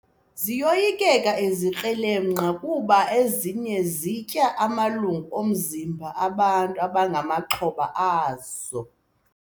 Ziyoyikeka izikrelemnqa kuba ezinye zitya amalungu omzimba bantu abangamaxhoba azo.